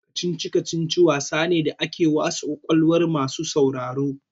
Kicici-kacici wasa ne da ake wasa kwakwalwa masu sauraro.